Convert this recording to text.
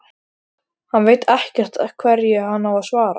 Hann veit ekkert hverju hann á að svara.